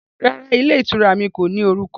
Rárá, ilé ìtura mi kò ní orúkọ